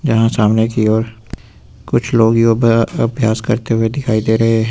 यहां सामने की ओर कुछ लोग अभ्यास करते हुए दिखाई दे रहे है।